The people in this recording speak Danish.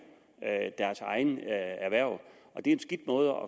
deres egne erhverv og det er en skidt måde